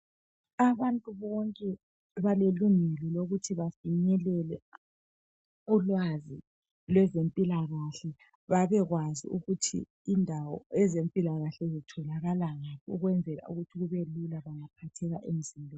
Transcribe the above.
Abantu bonke balelungelo lokuthi bafinyelele ulwazi lwezempilakahle babekwazi ukuthi indawo zempillakahle zitholakala ngaphi ukwenzela ukuthi kube lula ungaphatheka emzimbeni.